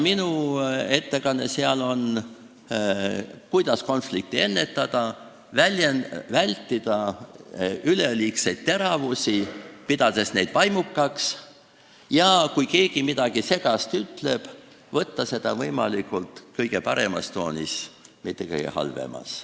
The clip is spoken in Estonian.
Minu ettekande teema seal on, kuidas konflikte ennetada ja vältida üleliigseid teravusi, pidades neid vaimukaks, ning kuidas siis, kui keegi midagi segast ütleb, võtta seda vastu kõige paremas toonis, mitte kõige halvemas.